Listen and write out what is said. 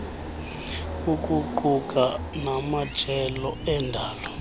ukuquka namajelo endalo